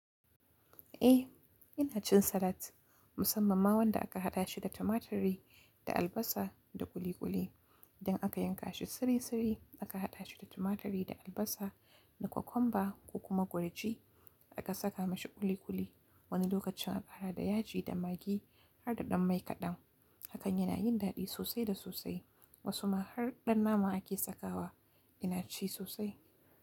Eh, ina cin salat musamman ma wanda aka haɗa shi da tumaturi da albasa da ƙuli ƙuli idan aka yanka shi sirisiri aka haɗa shi da tumaturi da albasa da kwakumba ko kuma gurji aka saka mashi ƙuli ƙuli. Wani lokacin aka haɗa da yaji da magi har da ɗan mai kaɗan. Hakan yana yin daɗi sosai da sosai. Wasu ma har ɗan nama ake sakawa. Ina ci sosai.